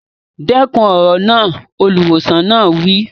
Dẹ́kun èrò náà! Olùwòsàn náà wí.